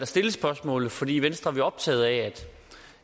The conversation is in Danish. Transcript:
stille spørgsmålet fordi vi i venstre er optaget af